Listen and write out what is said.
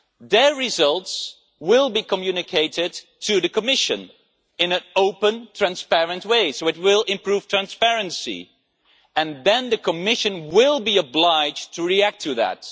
Their results will be communicated to the Commission in an open, transparent way, so it will improve transparency and then the Commission will be obliged to react to that.